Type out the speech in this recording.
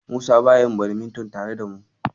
Musa baya yin badminton tare da mu.